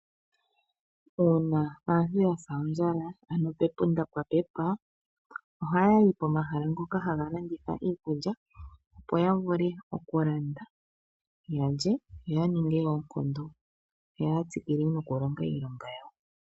Uuna aantu ya sa ondjala ano pepunda pwa pepa, ohaya yi komahala ngoka haga landitha iikulya, opo ya vule okulanda ya lye yo ya ninge oonkondo yo ya tsikile nokulonga iilonga yawo.